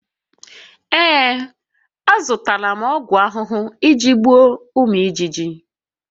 Ee, azụtara m ọgwụ ahụhụ iji gbuo ụmụ ijiji